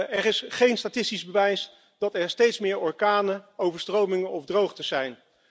Er is geen statistisch bewijs dat er steeds meer orkanen, overstromingen of droogtes zijn.